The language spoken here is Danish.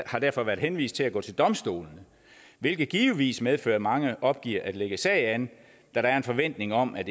har derfor været henvist til at gå til domstolene hvilket givetvis medfører at mange opgiver at lægge sag an da der er en forventning om at